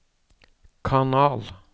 kanal